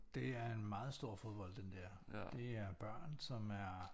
Det er en meget stor fodbold det der det er børn som er